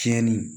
Tiɲɛni